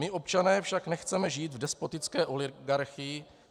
My občané však nechceme žít v despotické oligarchii.